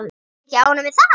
Ertu ekki ánægð með það?